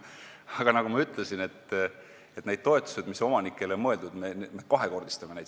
Aga nagu ma ütlesin, need toetused, mis omanikele on mõeldud, me selle otsusega kahekordistame.